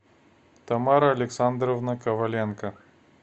тамара александровна коваленко